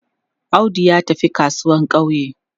Audu ya tafi kasuwan ƙauye.